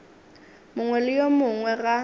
mongwe le yo mongwe ga